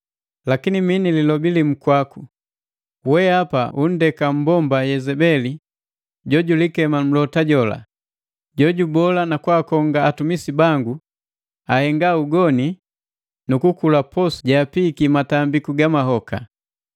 Lakini mi ni lilobi limu kwaku: Wehapa unndeka mmbomba Yezebeli jo julikema mlota jola, jojubola nakwaakonga atumisi bangu ahenga ugoni nu kukula posu jeapiiki matambi ga mahoka.